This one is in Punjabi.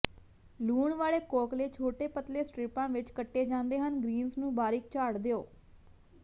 ਲੂਣ ਵਾਲੇ ਕੌਕਲੇ ਛੋਟੇ ਪਤਲੇ ਸਟਰਿਪਾਂ ਵਿੱਚ ਕੱਟੇ ਜਾਂਦੇ ਹਨ ਗ੍ਰੀਨਜ਼ ਨੂੰ ਬਾਰੀਕ ਝਾੜ ਦਿਓ